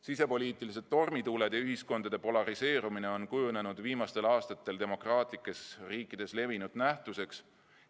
Sisepoliitilised tormituuled ja ühiskonna polariseerumine on kujunenud viimastel aastatel demokraatlikes riikides levinud nähtuseks.